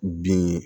Bin